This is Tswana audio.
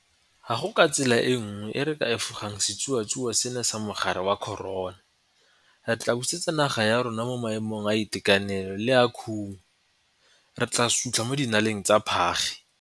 Ga go tsela e nngwe e re ka efogang setsuatsue seno sa mogare wa corona. Re tla busetsa naga ya rona mo maemong a itekanelo le a khumo. Re tla sutlha mo dinaleng tsa phage.